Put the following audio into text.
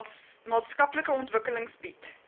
maatskaplike ontwikkeling bied